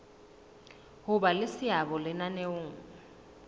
ho ba le seabo lenaneong